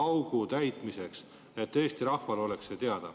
et Eesti rahvale oleks see teada.